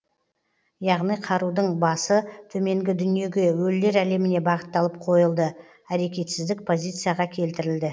яғни қарудың басы төменгі дүниеге өлілер әлеміне бағытталып қойылды әрекетсіздік позицияға келтірілді